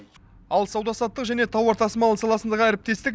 ал сауда саттық және тауар тасымалы саласындағы әріптестік